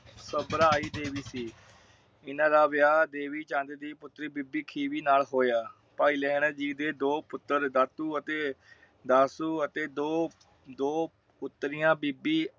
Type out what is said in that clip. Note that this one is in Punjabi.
ਘਬਰਾਈ ਦੇਵੀ ਸੀ। ਏਨਾ ਦਾ ਵਿਆਹ ਦੇਵੀਚੰਦ ਦੀ ਪੁਤਰੀ ਬੀਬੀ ਖੀਵੀ ਨਾਲ ਹੋਇਆ। ਭਾਈ ਲਹਿਰ ਜੀ ਦੇ ਦੋ ਪੁੱਤਰ ਦਾਤੂ ਅਤੇ ਦਾਸੁ ਅਤੇ ਦੋ ਦੋ ਪੁਤਰੀਆਂ ਬੀਬੀ